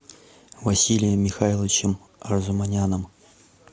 василием михайловичем арзуманяном